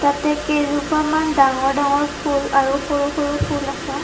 ইয়াতে কেইজোপামান ডাঙৰ ডাঙৰ ফুল আৰু সৰু সৰু ফুল আছে।